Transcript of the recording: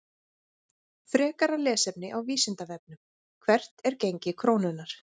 Frekara lesefni á Vísindavefnum: Hvert er gengi krónunnar?